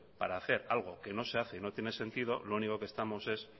para hacer algo que no se hace y no tiene sentido lo único que estamos es